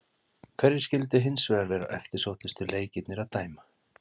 Hverjir skyldu hins vegar vera eftirsóttustu leikirnir að dæma?